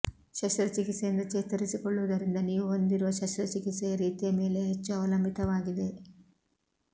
ಶಸ್ತ್ರಚಿಕಿತ್ಸೆಯಿಂದ ಚೇತರಿಸಿಕೊಳ್ಳುವುದರಿಂದ ನೀವು ಹೊಂದಿರುವ ಶಸ್ತ್ರಚಿಕಿತ್ಸೆಯ ರೀತಿಯ ಮೇಲೆ ಹೆಚ್ಚು ಅವಲಂಬಿತವಾಗಿದೆ